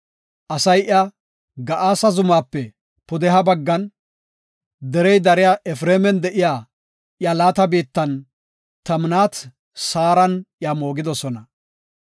Asay iya Ga7aasa zumaape pudeha baggan, derey dariya Efreeman de7iya iya laata biittan, Timnaat-Saaran iya moogidosona.